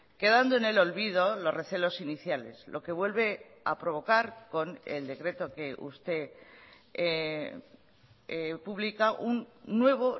quedando en el olvido los recelos iniciales lo que vuelve a provocar con el decreto que usted publica un nuevo